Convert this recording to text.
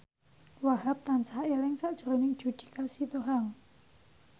Wahhab tansah eling sakjroning Judika Sitohang